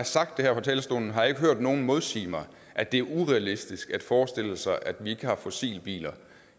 sagt det her fra talerstolen har jeg ikke hørt nogen modsige mig at det er urealistisk at forestille sig at vi ikke har fossilbiler